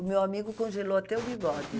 O meu amigo congelou até o bigode.